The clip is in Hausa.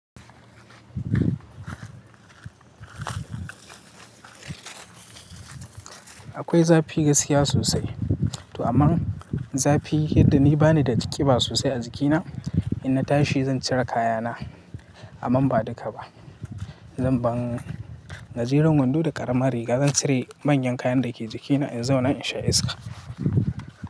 Akwai zafi gaskiya sosai. To aman zafi, yadda ni bani da jiƙi ba sosai a jikina. Inna tashi zan cire kayana, amman ba duka ba. Zan ban gajeran wando da ƙaramin riga. Zan cire manyan kayan da ke jikina in zauna in sha iska.